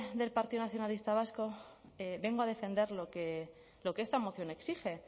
del partido nacionalista vasco vengo a defender lo que lo que esta moción exige